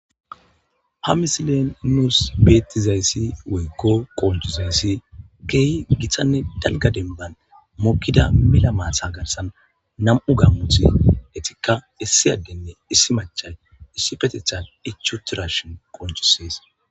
Ha misilean nusu betizays woyko qoncizays kehi gitanne dalga denban mokida mela maata garsan nam'u gamoti etikka issi adenne issi macan Issipetethan ichi utidashin qoncises